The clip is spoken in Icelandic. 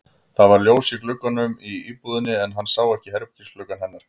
Það var ljós í gluggunum í íbúðinni en hann sá ekki herbergisgluggann hennar.